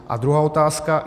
A druhá otázka.